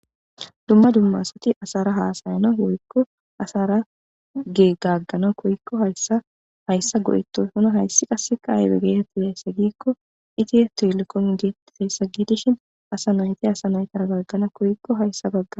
Dumma dumma asati asara haasayana woykko asara ge gaggana koyikko hayssa hayssa go7itoy hona hayssi qasseka aybe geeteti hayssa giikko itihe tilkon geettifeessa giidishin asa nayti asa naytara gaggana koykko hayssa bagga.